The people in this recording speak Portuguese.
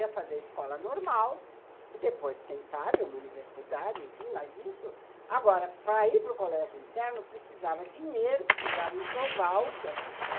Ia fazer escola normal e depois, quem sabe, uma universidade, enfim, mas isso... Agora, para ir para o colégio interno, precisava dinheiro, precisava enxoval, que as pessoas